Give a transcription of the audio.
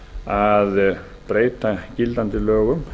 að breyta gildandi lögum